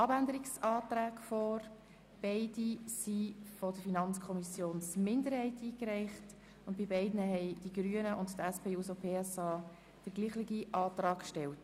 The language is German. Im Voranschlag 2018 ist der Saldo der Produktgruppe 5.7.7 «Angebote für Menschen mit einem Pflege-, Betreuungs-, besonderen Bildungsbedarf» um CHF 0,5 Millionen zu erhöhen.